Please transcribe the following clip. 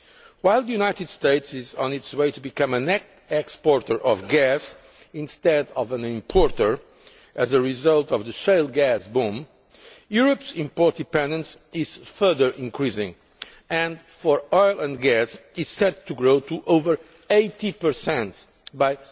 While the United States is on its way to becoming a net exporter of gas instead of an importer, as a result of the shale gas boom, Europe's import dependence is further increasing and, for oil and gas, is set to grow to over 80 by